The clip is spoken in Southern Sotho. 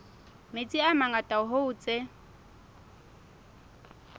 metsi a mangata hoo tse